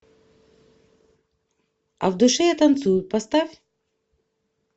а в душе я танцую поставь